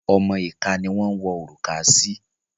Ọmọ ìka ni wọ́n ń wọ òrùka sí.